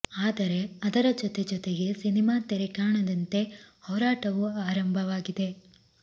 ಆದರೆ ಅದರ ಜೊತೆ ಜೊತೆಗೆ ಸಿನಿಮಾ ತೆರೆ ಕಾಣದಂತೆ ಹೋರಾಟವೂ ಆರಂಭವಾಗಿದೆ